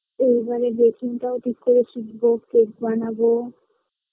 এইবারে baking টাও ঠিক করে শিখবো cake বানাবো